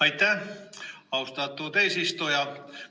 Aitäh, austatud eesistuja!